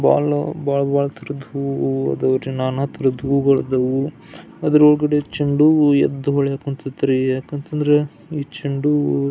ಬಹಳ ಬಹಳ ಬಹಳ ತರಹದ್ ಹೂವು ಅದು ನಾನಾ ತರಹದ ಹೂವು ಅದರ ಒಳಗಡೆ ಚೆಂಡು ಹೂವು ಎದ್ದು ಹೊಳಿಯಕ್ ಹೊಂತೈತ್ರಿ ಯಾಕಂತಂದ್ರ ಈ ಚೆಂಡು ಹೂವು --